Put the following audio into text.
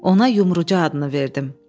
Ona Yumruca adını verdim.